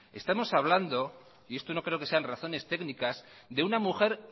estamos hablando y esto no creo que sean razones técnicas de una mujer